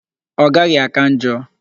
Ọ gaghị áká njọ.